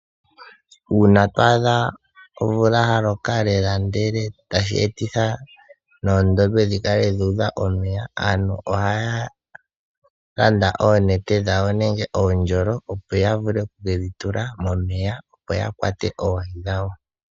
Uuna to adha omvula yaloka lela tashi etitha oondombe dhi kale dha udha omeya, aantu oha ya landa oonete dhawo nenge oondjolo opo ya vule oku kedhi tula momeya opo ya kwate oohi dhawo